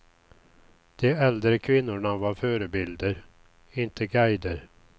De äldre kvinnorna var förebilder, inte guider.